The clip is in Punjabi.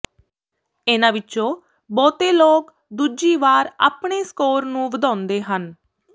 ਇਹਨਾਂ ਵਿੱਚੋਂ ਬਹੁਤੇ ਲੋਕ ਦੂਜੀ ਵਾਰ ਆਪਣੇ ਸਕੋਰ ਨੂੰ ਵਧਾਉਂਦੇ ਹਨ